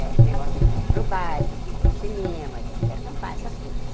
Eh negócio de ir para o baile, de ir para o cinema, de ir acampar, essas coisas.